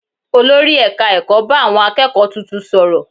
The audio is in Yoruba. Olórí ẹ̀ka ẹ̀kọ́ bá àwọn akẹ́kọ̀ọ́ tuntun sọ̀rọ̀